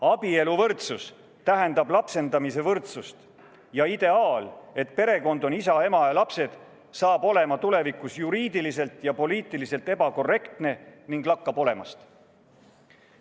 Abieluvõrdsus tähendab lapsendamise võrdsust ja ideaal, et perekond on isa, ema ja lapsed, saab olema tulevikus juriidiliselt ja poliitiliselt ebakorrektne ning lakkab olemast.